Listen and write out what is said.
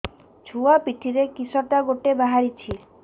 ଛୁଆ ପିଠିରେ କିଶଟା ଗୋଟେ ବାହାରିଛି